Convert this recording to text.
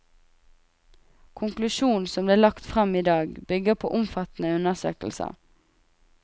Konklusjon som ble lagt frem i dag bygger på omfattende undersøkelser.